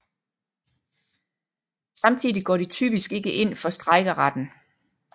Samtidig går de typisk ikke ind for strejkeretten